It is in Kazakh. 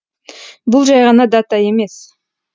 бұл жай ғана дата емес